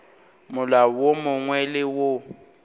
molao wo mongwe le wo